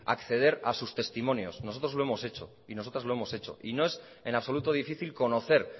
acceder a sus testimonios nosotros lo hemos hecho y nosotras lo hemos hecho y no es en absoluto difícil conocer